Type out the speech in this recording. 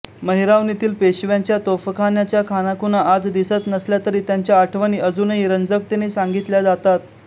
महिरावणीतील पेशव्यांच्या तोफखान्याच्या खाणाखुणा आज दिसत नसल्या तरी त्यांच्या आठवणी अजूनही रंजकतेने सांगितल्या जातात